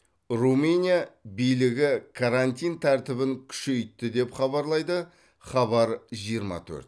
румыния билігі карантин тәртібін күшейтті деп хабарлайды хабар жиырма төрт